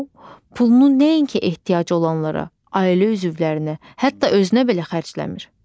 Pulunu nəinki ehtiyacı olanlara, ailə üzvlərinə, hətta özünə belə xərcləmir.